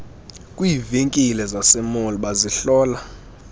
kwiivenkile zasemall bazihlola